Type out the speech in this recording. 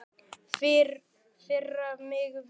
Firra mig vitinu.